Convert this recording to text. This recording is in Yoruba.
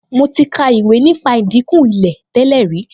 Mo ti ka ìwé nípa ìdìnkù Ilé tẹ́lẹ̀ rí